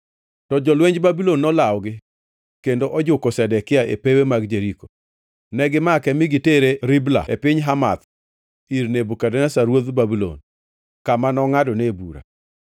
To jolwenj Babulon nolawogi kendo ojuko Zedekia e pewe mag Jeriko. Negimake mi gitere Ribla e piny Hamath ir Nebukadneza ruodh Babulon, kama nongʼadone bura.